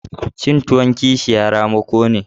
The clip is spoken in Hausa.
Cin tuwon kishiya ramako ne.